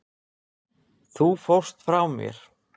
Þú fórst frá mér.